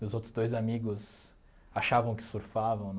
Meus outros dois amigos achavam que surfavam